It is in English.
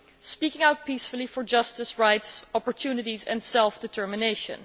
Speaking out peacefully for justice, rights, opportunities and self determination.